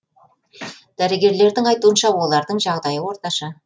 дәрігерлердің айтуынша олардың жағдайы орташа